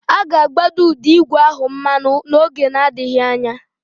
A ga-agbanye ụdọ ígwè ahụ mmanụ n'oge adịghị anya.